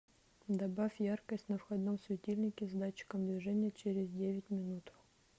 добавь яркость на входном светильнике с датчиком движения через девять минут